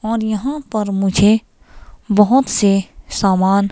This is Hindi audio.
और यहां पर मुझे बहुत से सामान--